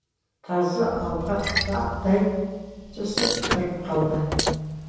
тазы алға аттай түсіп тұрып қалды